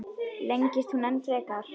Lengist hún enn frekar?